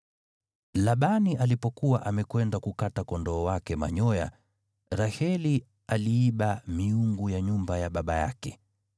Labani alipokuwa amekwenda kukata kondoo wake manyoya, Raheli aliiba miungu ya nyumba ya baba yake.